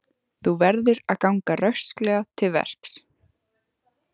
Þú verður að ganga rösklega til verks.